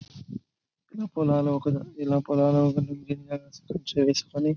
ఈ పొలాలు ఇలా పొలాలు చేసుకుని --